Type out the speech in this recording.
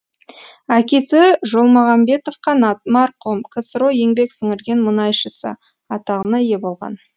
әкесі жолмағанбетов қанат марқұм ксро еңбек сіңірген мұнайшысы атағына ие болған